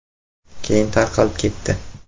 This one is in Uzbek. Keyin tarqalib ketdi.